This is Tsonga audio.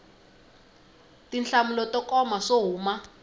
tinhlamulo to koma swo huma